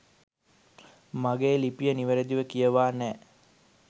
මගේ ලිපිය නිවරදිව කියවා නෑ